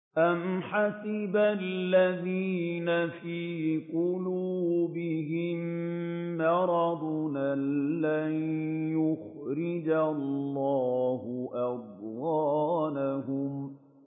أَمْ حَسِبَ الَّذِينَ فِي قُلُوبِهِم مَّرَضٌ أَن لَّن يُخْرِجَ اللَّهُ أَضْغَانَهُمْ